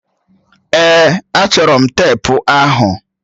Èè, achọrọ m teepu ahụ.